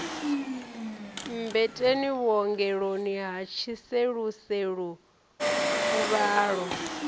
mmbeteni vhuongeloni ha tshiseluselu fuvhalo